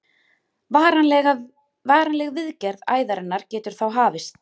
varanleg viðgerð æðarinnar getur þá hafist